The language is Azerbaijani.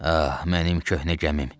Ah, mənim köhnə gəmim!